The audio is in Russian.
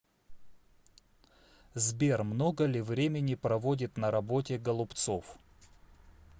сбер много ли времени проводит на работе голубцов